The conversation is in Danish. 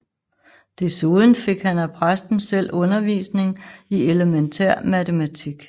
Desuden fik han af præsten selv undervisning i elementær matematik